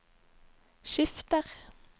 skifter